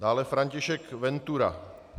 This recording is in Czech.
Dále František Ventura.